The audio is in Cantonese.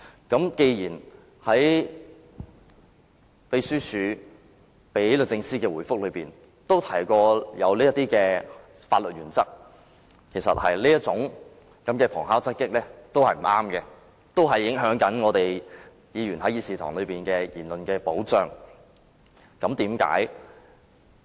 既然立法會秘書處發送予律政司的覆函均提及有關的法律原則，我認為這種旁敲側擊的做法是不對的，會影響議員在議事堂的言論保障。